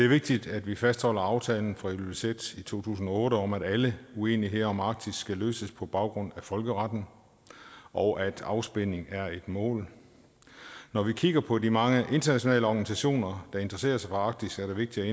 vigtigt at vi fastholder aftalen fra ilulissat i to tusind og otte om at alle uenigheder om arktis skal løses på baggrund af folkeretten og at afspænding er et mål når vi kigger på de mange internationale organisationer der interesserer sig for arktis er det vigtigt